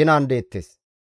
ginan deettes.